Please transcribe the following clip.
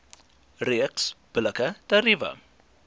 reeks billike tariewe